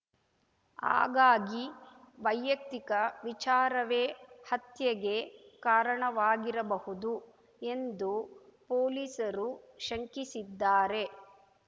ಹಾಗಾಗಿ ವೈಯಕ್ತಿಕ ವಿಚಾರವೇ ಹತ್ಯೆಗೆ ಕಾರಣವಾಗಿರಬಹುದು ಎಂದು ಪೊಲೀಸರು ಶಂಕಿಸಿದ್ದಾರೆ